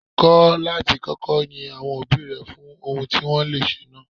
Kọ́ láti kọ́kọ́ yin àwọn òbí rẹ fún ohun tí wọ́n le ṣe náà.